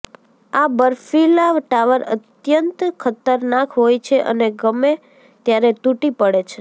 આ બર્ફીલા ટાવર અત્યંત ખતરનાક હોય છે અને ગમે ત્યારે તૂટી પડે છે